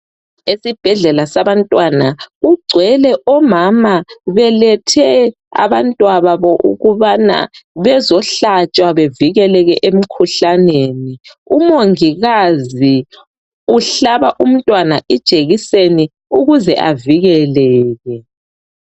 Esibhedlela sabantwana kugcwele omama belethe abantwababo ukubana bezohlatshwa bevikeleke emikhuhlaneni umongikazi uhlaba umntwana ijekiseni ukuze avikeleke.